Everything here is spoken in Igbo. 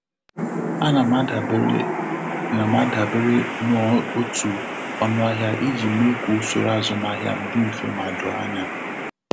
A na m adebere na m adebere n'otu ọnụahịa iji mee ka usoro azụmahịa m dị mfe ma doo anya.